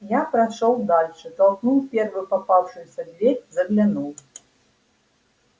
я прошёл дальше толкнул первую попавшуюся дверь заглянул